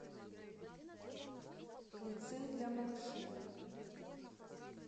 лицей для малышей